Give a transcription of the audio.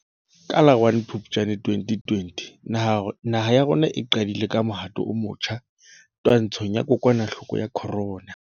Ka la 01 Phuptjane 2020 naha ya rona e qadile ka mohato o motjha twantshong ya kokwanahloko ya corona.